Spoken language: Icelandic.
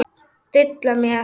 Dilla mér.